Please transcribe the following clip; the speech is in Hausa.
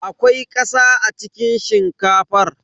Akwai ƙasa a cikin shinkafar.